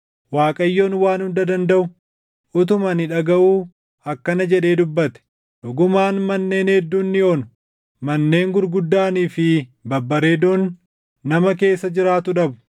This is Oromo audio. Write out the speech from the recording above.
Waaqayyoon Waan Hunda Dandaʼu utumaa ani dhagaʼuu akkana jedhee dubbate: “Dhugumaan manneen hedduun ni onu; manneen gurguddaanii fi babbareedoon nama keessa jiraatu dhabu.